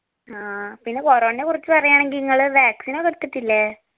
ആ പിന്നെ corona നെ കുറിച് പറയാണെങ്കി ഇങ്ങള് vaccine ഒക്കെ എടുത്തിട്ടില്ലേ